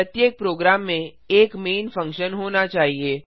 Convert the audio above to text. प्रत्येक प्रोग्राम में एक मैन फंक्शन होना चाहिए